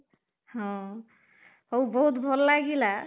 ହଁ, ହଉ ବହୁତ ଭଲ ଲାଗିଲା